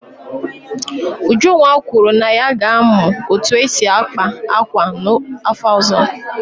Ujunwa kwuru na ya ga-amụ otú e si akpa akwa n'afọ ọzọ.